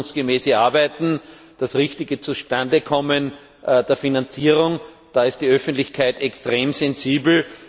Das ordnungsgemäße Arbeiten, das richtige Zustandekommen der Finanzierung da ist die Öffentlichkeit extrem sensibel.